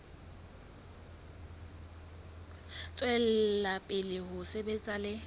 tswela pele ho sebetsa le